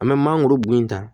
An bɛ mangoro bun in ta